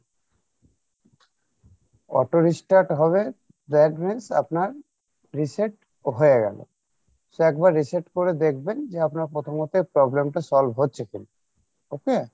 auto restart হবে that means আপনার reset হয়ে গেলো so একবার reset করে দেখবেন যে আপনার প্রথমত problem টা solve হচ্ছে কী okay?